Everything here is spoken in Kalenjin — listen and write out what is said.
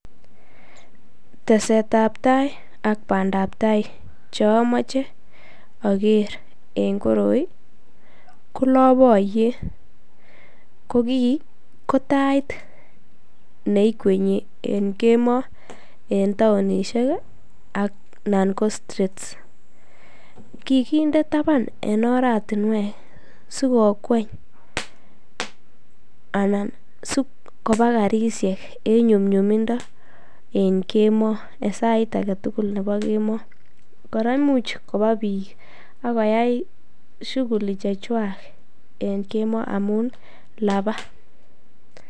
Tesetab tai ak bandab tai chomoche oker en koroi ko lopoyet, ko kii ko tait neikwenyi en kemoo en taonishek anan ko streets, kikinde taban en oratinwek sikokweny anan sikobaa karishek en nyumnyumindo en kemoo en sit aketukul nebo kemoo, kora imuch kobaa biik ak koyai shuguli chechwak en kemoo amun labaa.